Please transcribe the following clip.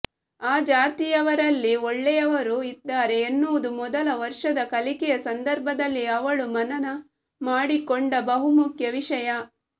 ಆ ಜಾತಿಯವರಲ್ಲಿ ಒಳ್ಳೆಯವರೂ ಇದ್ದಾರೆ ಎನ್ನುವುದು ಮೊದಲ ವರ್ಷದ ಕಲಿಕೆಯ ಸಂದರ್ಭದಲ್ಲಿ ಅವಳು ಮನನ ಮಾಡಿಕೊಂಡ ಬಹುಮುಖ್ಯ ವಿಷಯ